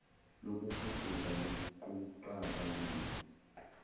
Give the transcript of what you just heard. kokufuduka koquqaba luya